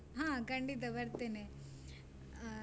ಹಾ ಖಂಡಿತ ಬರ್ತೇನೆ, ಅಹ್.